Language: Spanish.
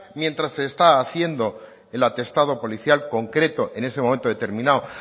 mientras se está haciendo el atestado policial concreto en ese momento determinado